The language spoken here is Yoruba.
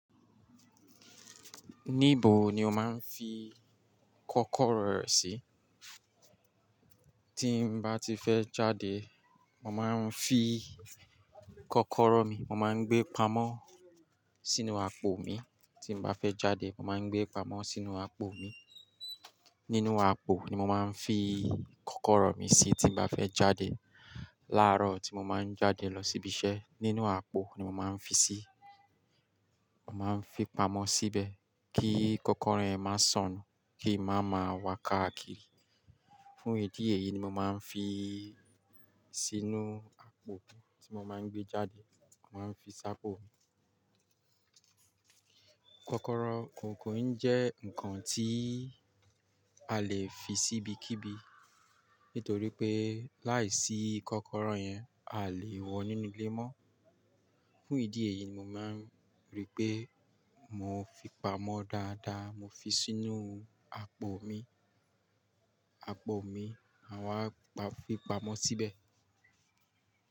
Níbo ni o máa ń fi kọ́kọ́rọ́ rẹ sí? Tí ń bá ti fẹ́ jáde, mo máa ń fi kọ́kọ́rọ́ mi, mo máa ń gbé pamọ́ sínú àpò mi, tí m bá fẹ́ jáde, mo máa ń gbé pamọ́ sínú àpò mi. Nínú àpò ni mo máa ń fi kọ́kọ́rọ́ mi sí tí mo bá fẹ́ jáde. Láàárọ̀ tí mo máa ń jáde lọ síbi iṣẹ́, nínú àpò ni mo máa ń fi sí, mo máa ń fi pamọ́ síbẹ̀ kí kọ́kọ́rọ́ yẹn máa sọnù, kí i má máa wa káàkiri. Fún ìdí èyí ni mo máa ń fi sínú àpò tí mo máa ń gbé jáde. Mo máa ń fi sápò mi. Kọ́kọ́rọ́ kó kòn jẹ́ ǹkan tí a lè fi sí ibikíbi, nítorí pé láìsí kọ́kọ́rọ́ yẹn, a lè wọ nínú ilé mọ́. Fún ìdí èyí ni mo máa ń rí pé mo fi pamọ́ dáadáa, mo fi sínú àpò mi, àpò mi, àwa pa fi pamọ́ síbẹ̀.